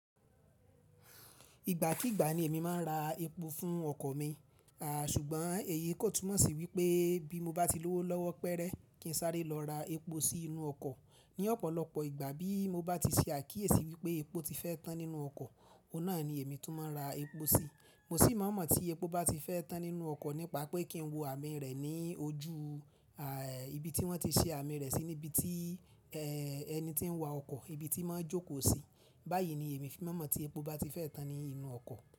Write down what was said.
Ìgbà kigbà ni èmi máa ń ra epo fún ọkọ̀ mi, à ṣùgbọ́n èyí kò túmọ̀ sí wípé bí mo bá ti lówó lọ́wọ́ péré kí n sáré lọ ra epo sí inú ọkọ̀. Ni ọ̀pọ̀lọpọ̀ ìgbà bí mo bá ti ṣe àkíyèsí wípé epo ti fẹ́ tán nínú ọkọ̀, òun náà ni èmi tún máa ń ra epo sí. Mo sì máa mọ̀ tí epo bá ti fẹ́ tán nínú ọkọ̀ nípa pé kí n wo àmì rẹ̀ ní ojú à ibi tí wọ́n ti ṣe àmì rẹ̀ sí níbi tí ẹ ẹni tí ń wa ọkọ̀ ibi tí mọ́ ń jókòó sí. Báyìí ni èmi fi máa mọ̀ tí epo bá ti fẹ́ tán ní inú ọkọ̀.